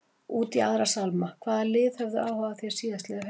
Út í aðra sálma, hvaða lið höfðu áhuga á þér síðastliðið haust?